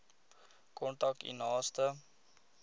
kontak u naaste